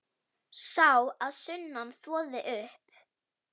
Sá að sunnan þvoði upp.